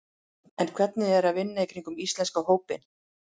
En hvernig er að vinna í kringum íslenska hópinn?